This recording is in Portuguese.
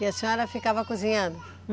E a senhora ficava cozinhando?